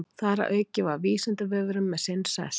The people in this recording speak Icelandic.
Þar að auki var Vísindavefurinn með sinn sess.